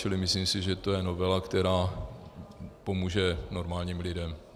Čili myslím si, že to je novela, která pomůže normálním lidem.